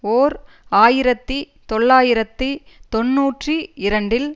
ஓர் ஆயிரத்தி தொள்ளாயிரத்தி தொன்னூற்றி இரண்டில்